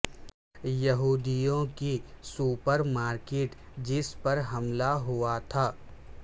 یہودیوں کی supermarket جس پر حملہ ہوا تھا